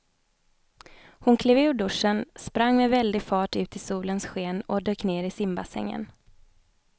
Hon klev ur duschen, sprang med väldig fart ut i solens sken och dök ner i simbassängen.